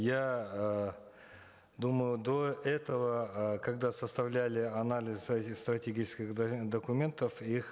я э думал до этого э когда составляли анализ стратегических документов их